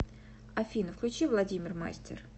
афина включи владимир мастер